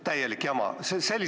Täielik jama!